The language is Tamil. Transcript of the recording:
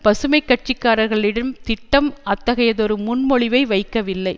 பசுமை கட்சிக்காரர்களின் திட்டம் அத்தகையதொரு முன்மொழிவை வைக்கவில்லை